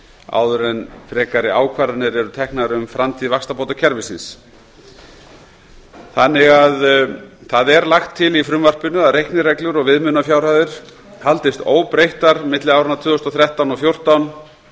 áður en frekari ákvarðanir eru teknar um framtíð vaxtabótakerfisins í frumvarpinu er lagt til að reiknireglur og viðmiðunarfjárhæðir haldist óbreyttar milli áranna tvö þúsund og þrettán og tvö þúsund og